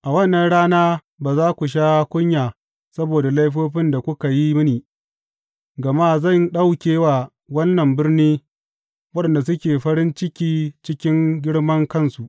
A wannan rana ba za ku sha kunya saboda laifofin da kuka yi mini, gama zan ɗauke wa wannan birni waɗanda suke farin ciki cikin girmankansu.